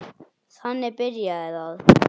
Þannig byrjaði það.